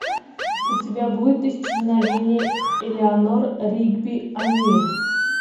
у тебя будет исчезновение элеанор ригби они